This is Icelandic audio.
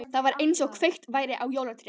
Það var einsog kveikt væri á jólatré.